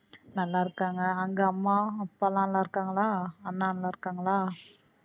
நல்லா இருக்காங்க? அங்க அம்மா அப்பா எல்லாம் நல்லா இருக்காங்களா? அண்ணா நல்லா இருக்காங்களா?